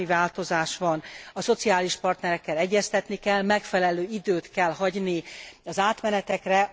Bármi változás van, a szociális partnerekkel egyeztetni kell, megfelelő időt kell hagyni az átmenetekre.